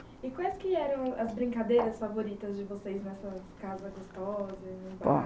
E quais que eram as brincadeiras favoritas de vocês nessa casa gostosa?